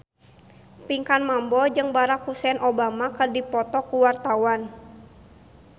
Pinkan Mambo jeung Barack Hussein Obama keur dipoto ku wartawan